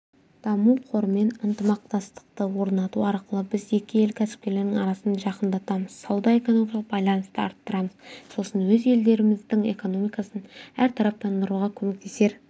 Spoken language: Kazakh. даму қорымен ынтымақтастықты орнату арқылы біз екі ел кәсіпкерлерінің арасын жақындатамыз сауда-экономикалық байланысты арттырамыз сосын өз елдеріміздің экономикасын әртараптандыруға көмектесер